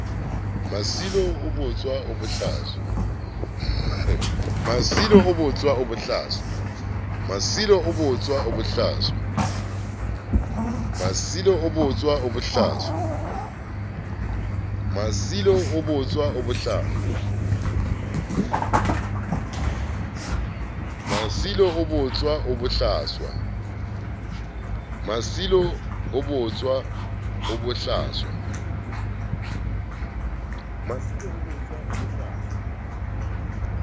masilo o botswa o bohlaswa